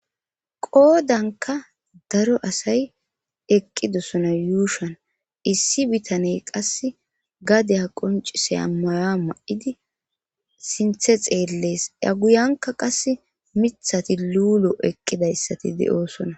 qoodanka daro asay eqqidosona yuushan issi bitane qas gadeya qoncisiya maya ma7idi sinthe xeellees ya guyanka qas mithati luulo eqqidayssati de7oosona